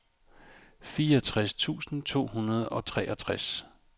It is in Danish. fireogtres tusind to hundrede og treogtres